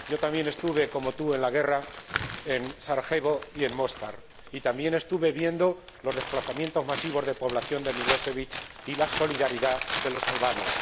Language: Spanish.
Yo también estuve, como tú, en la guerra en Sarajevo y en Móstar, y vi también los desplazamientos masivos de población de Milosevic y la solidaridad de los albanos.